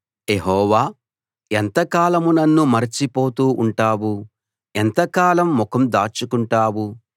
యెహోవా ఎంతకాలం నన్ను మరచిపోతూ ఉంటావు ఎంతకాలం ముఖం దాచుకుంటావు